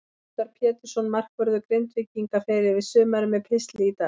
Óskar Pétursson, markvörður Grindvíkinga, fer yfir sumarið með pistli í dag.